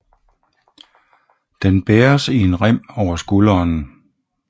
Den bæres i en rem over skulderen